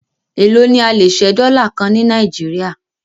Èló ni a lè ṣẹ́ dọ́là kan ní Nàìjíríà?